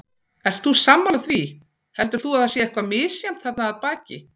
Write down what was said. Ert þú sammála því, heldur þú að það sé eitthvað misjafnt þarna að baki?